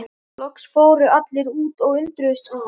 Loks fóru allir út og undruðust að